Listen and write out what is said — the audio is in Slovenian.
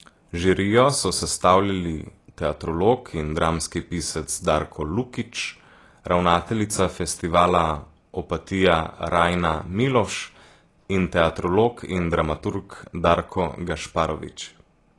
Žirijo so sestavljali teatrolog in dramski pisec Darko Lukić, ravnateljica Festivala Opatija Rajna Miloš in teatrolog in dramaturg Darko Gašparović.